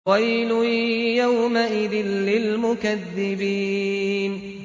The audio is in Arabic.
وَيْلٌ يَوْمَئِذٍ لِّلْمُكَذِّبِينَ